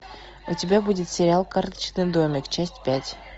у тебя будет сериал карточный домик часть пять